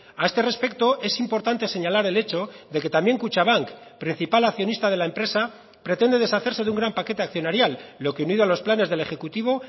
a este respecto es importante señalar el hecho de que también kutxabank principal accionista de la empresa pretende deshacerse de un gran paquete accionarial lo que unido a los planes del ejecutivo